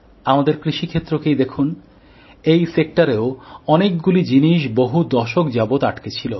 আমাদের কৃষি ক্ষেত্রকেই দেখুন এখানেও অনেকগুলি জিনিস বহু দশক ধরে আটকে ছিল